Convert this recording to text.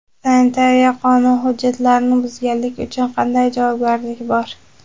Sanitariya qonun hujjatlarini buzganlik uchun qanday javobgarlik bor?.